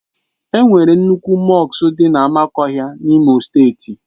E nwere nnukwu mọsk dị na Amakohia N'Imo steeti.